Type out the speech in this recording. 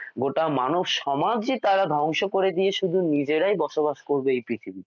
গোটা মানবসমাজই তারা ধ্বংস করে দিয়ে শুধু নিজেরাই বসবাস করবে এই পৃথিবীতে।